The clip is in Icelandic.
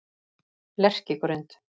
Lerkigrund